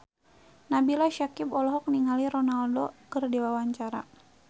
Nabila Syakieb olohok ningali Ronaldo keur diwawancara